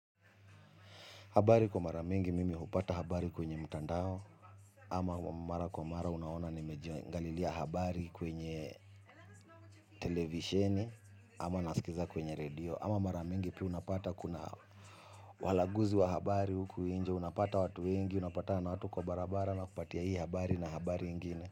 Habari kwa mara mingi mimi hupata habari kwenye mutandao. Ama mara kwa mara unaona nimejiangalilia habari kwenye televisheni. Ama nasikiza kwenye redio. Ama mara mingi pia unapata kuna walaguzi wa habari huku nje. Unapata watu wengi unapatana na watu kwa barabara ana kupatia hii habari na habari ingine.